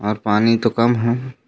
और पानी तो कम हे।